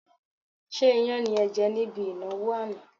Ṣé iyán ni ẹ jẹ̀ níbi ìnáwó àná?